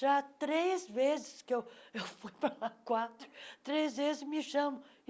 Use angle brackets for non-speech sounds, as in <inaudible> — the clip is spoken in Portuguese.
Já três vezes, que eu <laughs> eu fui para lá quatro, três vezes me chamam.